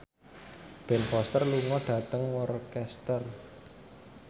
Ben Foster lunga dhateng Worcester